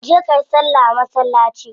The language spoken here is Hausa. Je kayi salla a masallaci